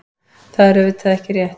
Það er auðvitað ekki rétt.